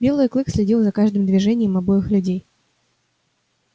белый клык следил за каждым движением обоих людей